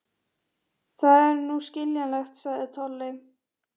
Það er nú skiljanlegt, sagði Tolli.